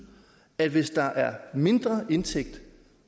at hvis der er en mindre indtægt